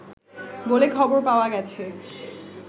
বলে খবর পাওয়া গেছে